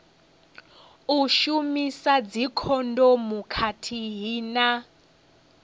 u shumisa dzikhondomu khathihi na